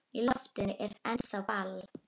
Í loftinu er ennþá ball.